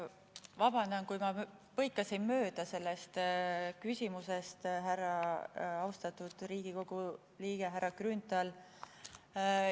Vabandust, kui ma põikasin mööda teie küsimusest, austatud Riigikogu liige härra Grünthal!